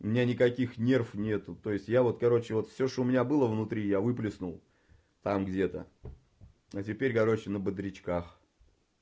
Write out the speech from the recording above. у меня никаких нерв нет то есть я вот короче вот всё что у меня было внутри я выплеснул там где-то но теперь короче на бодрячках